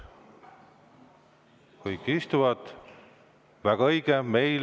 Aga kõik istuvad – väga õige!